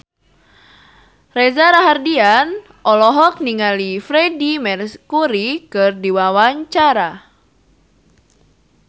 Reza Rahardian olohok ningali Freedie Mercury keur diwawancara